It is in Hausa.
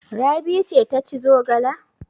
Rabi ce ta ci zogala?